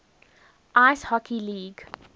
ice hockey league